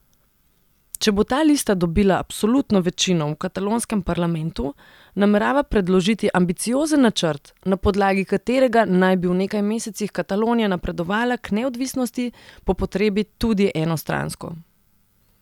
Če bo ta lista dobila absolutno večino v katalonskem parlamentu, namerava predložiti ambiciozen načrt, na podlagi katerega naj bi v nekaj mesecih Katalonija napredovala k neodvisnosti, po potrebi tudi enostransko.